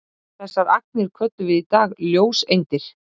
þessar agnir köllum við í dag ljóseindir